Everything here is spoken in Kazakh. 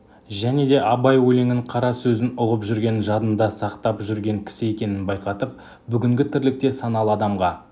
және де абай өлеңін қара сөзін ұғып жүрген жадында сақтап жүрген кісі екенін байқатып бүгінгі тірлікте саналы адамға